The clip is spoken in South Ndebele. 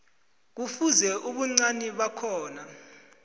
kufuze ubuncani bakhona